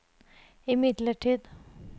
imidlertid